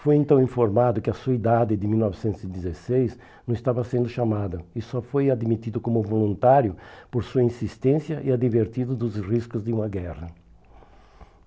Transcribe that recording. Foi então informado que a sua idade, de mil novecentos e dezesseis, não estava sendo chamada e só foi admitido como voluntário por sua insistência e advertido dos riscos de uma guerra.